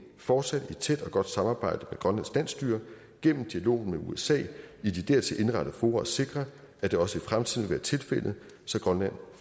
fortsat i tæt og godt samarbejde med grønlands landsstyre gennem dialog med usa i de dertil indrettede fora sikre at det også i fremtiden vil være tilfældet så grønland